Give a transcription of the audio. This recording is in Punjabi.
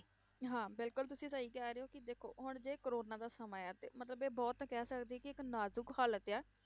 ਹਾਂ ਬਿਲਕੁਲ ਤੁਸੀਂ ਸਹੀ ਕਹਿ ਰਹੇ ਹੋ ਕਿ ਦੇਖੋ ਹੁਣ ਜੇ ਕੋਰੋਨਾ ਦਾ ਸਮਾਂ ਹੈ ਤੇ ਮਤਲਬ ਇਹ ਬਹੁਤ ਕਹਿ ਸਕਦੇ ਕਿ ਇੱਕ ਨਾਜ਼ੁਕ ਹਾਲਤ ਆ